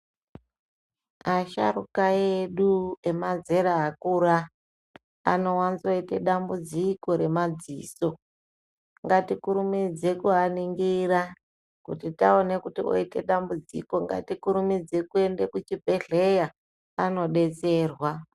Asharuka edu emazera akura anowanzoite dambudziko remadziso. Ngatikurumidze kuaningira, kuti taone kuti oite dambudziko ngatikurumidze kuende kuchibhehleya, anodetserwa.